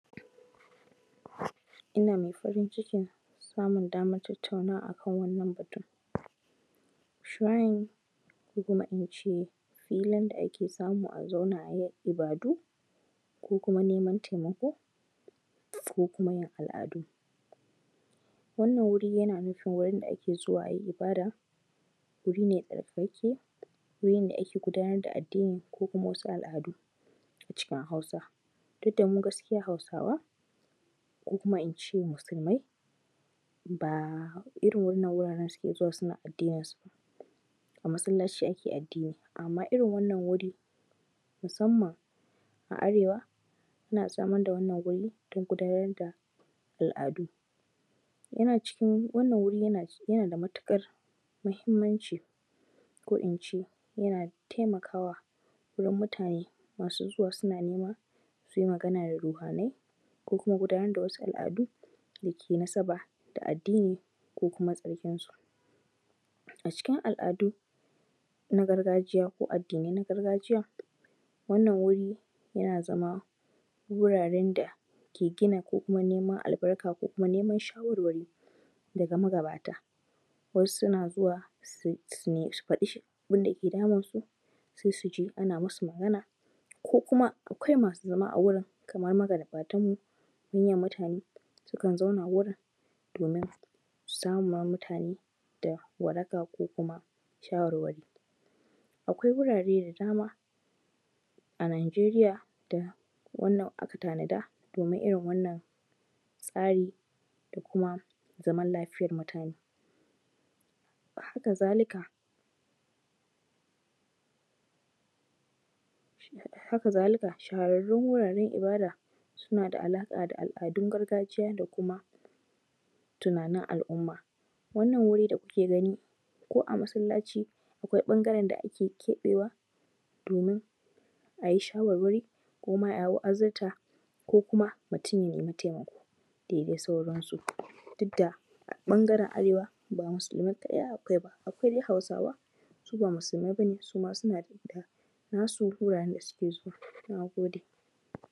Ina mai farin cikin samun damar tattauwa a kan wannan batun. Shun ko kuma in ce filin da ake samu a zauna a yi ibadu, ko kuma neman taimako ko kuma yin al’adu. Wannan wuri yana nufin wurn da ake zuwa a yi ibada, wuri ne tsarkakakke, wurin da ake gudanar da addini ko kuma wasu al’adu, cikin Hausa. Duk da mu gaskiya Hausawa ko kuma in ce Musulmai ba irin waɗannan wuraren suke zuwa suke gudanar da addininsu ba. A masallaci ake addini, amma irin wannan wuri, musamman a arewa a samar da wannan wuri don gudanar da al’adu, yana cikin wannan wurin yana da matuƙar amfani muhimmanci, ko in ce yana taimakawa wurin muutane masu zuwa suna nema su yi magana da ruhanai ko kuma gudanar da wasu al’adu da ke da nasaba da addi ko kuma tsarkinsu. A cikin al’adu na gargajiya ko addinai na gargajiya, wannan wuri yana zama wuraren da ke gina ko kuma neman albarka ko kuma neman shawarwari daga magabata,. Dan suna zuwa su faɗa abin da ke damunsu. Sai su je ana masu magana ko kuma akwai masu zama a wurin kamar magabatanmu. Manyan mutane sukan zauna wurin domin saman ma mutane da waraka ko kuma shawarwari. Akwai wurare da dama a Najeri da aka tanada domin irin wannan tsari da kuma zaman lafiyar mutane. Haka-za-lika, Haka-za-lika shahararrun wuraren ibada suna da alaƙa da al’adun gargajiya da kuma tunanin al’umma. Wannan wuri da kuke gani ko a masallaci akwai wurin da ake keɓewa, domin a yi shawarwari ko a yi asirta ko kuma mutum ya nemi taimako da dai sauransu. Duk da ɓangaren arewa ba Musulmai kaɗai akwai ba, akwai dai Hausawa sub a Musulmai ba ne amma dai suna da nasu wuraren da suke zuwa. Na gode.